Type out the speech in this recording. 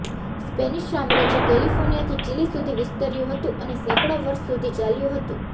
Spanish સામ્રાજ્ય કેલિફોર્નિયાથી Chile સુધી વિસ્તર્યું હતું અને સેંકડો વર્ષ સુધી ચાલ્યું હતું